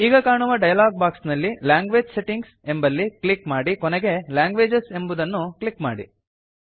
ಈಗ ಕಾಣುವ dialog box ನಲ್ಲಿ ಲ್ಯಾಂಗ್ವೇಜ್ ಸೆಟ್ಟಿಂಗ್ಸ್ ಎಂಬಲ್ಲಿ ಕ್ಲಿಕ್ ಮಾಡಿ ಕೊನೆಗೆ ಲ್ಯಾಂಗ್ವೇಜಸ್ ಎಂಬುದನ್ನು ಕ್ಲಿಕ್ ಮಾಡಿ